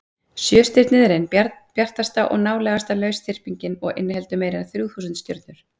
sjöstirnið er ein bjartasta og nálægasta lausþyrpingin og inniheldur meira en þrjú þúsund stjörnur